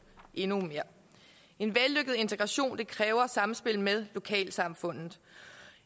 endnu mere en vellykket integration kræver samspil med lokalsamfundet